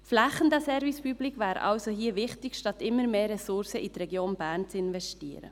Flächendeckender Service public wäre hier also wichtiger, als immer mehr Ressourcen in die Region Bern zu investieren.